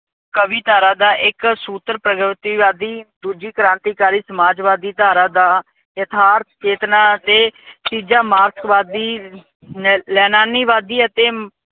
ਕਵੀਧਾਰਾ ਦਾ ਇੱਕ ਸੂਤਰ ਪ੍ਰਗਤੀਵਾਦੀ, ਦੂਜੀ ਕ੍ਰਾਂਤੀਕਾਰੀ ਸਮਾਜਵਾਦੀ ਧਾਰਾ ਦਾ ਚੇਤਨਾ ਅਤੇ ਤੀਜਾ ਮਾਰਕਸਵਾਦੀ ਅਤੇ